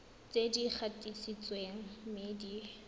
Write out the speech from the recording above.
tse di gatisitsweng mme di